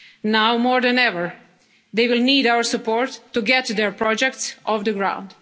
and others. Now more than ever, they will need our support to get their projects